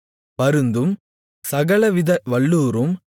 பருந்தும் சகலவித வல்லூறும்